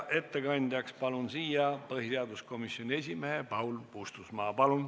Ettekandeks palun siia põhiseaduskomisjoni esimehe Paul Puustusmaa.